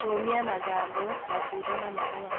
Kũũmia mathangũ, matunda na mahũa